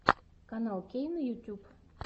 канал кейна ютюб